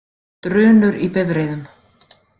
Drunur í bifreiðum.